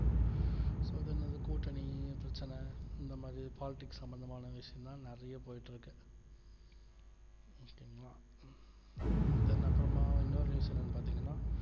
so then கூட்டணி பிரச்சன இந்த மாதிரி politics சம்பந்தமான news தான் நிறைய போயிட்டு இருக்கு okay ங்கள then அப்புறமா வந்து இன்னொரு news என்னன்னு பார்த்தீங்கன்னா